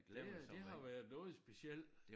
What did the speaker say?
Det det har været noget specielt